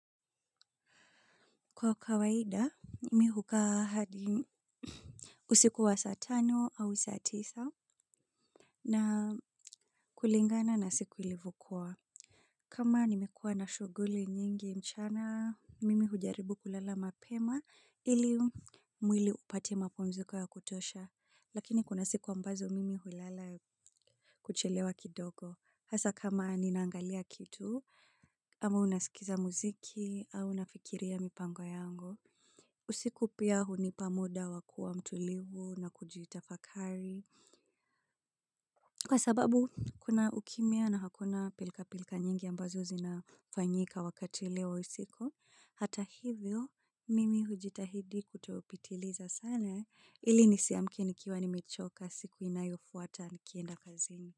Kwa kawaida mimi hukaa hadi usiku wa saa tano au saa tisa. Na kulingana na siku ilivyokuwa. Kama nimekuwa na shughuli nyingi mchana mimi hujaribu kulala mapema ili mwili upate mapunziko ya kutosha lakini kuna siku ambazo mimi hulala. Kuchelewa kidogo hasa kama ninaangalia kitu ama unasikiza muziki au unafikiria mipango yangu. Usiku pia hunipa muda wa kuwa mtulivu na kujitafakari kwa sababu kuna ukimya na hakuna pilka pilka nyingi ambazo zinafanyika wakati leo usiku hata hivyo mimi hujitahidi kutopitiliza sana hili nisiamkini kiwa nimechoka siku inayofuata nikienda kazini.